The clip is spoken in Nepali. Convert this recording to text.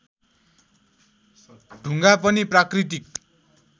ढुङ्गा पनि प्राकृतिक